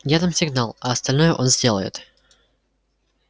я дам сигнал а остальное он сделает